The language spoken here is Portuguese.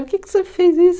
Por que que você fez isso?